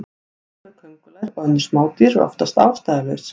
Hræðsla við köngulær og önnur smádýr er oftast ástæðulaus.